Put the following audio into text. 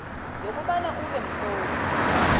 yokobana ube mtlolo